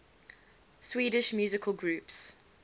swedish musical groups